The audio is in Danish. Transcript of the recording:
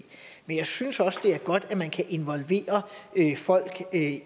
men jeg synes også det er godt at man kan involvere folk